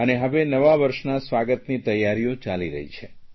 અને હવે નવા વર્ષના સ્વાગતની તૈયારીઓ ચાલી રહી છે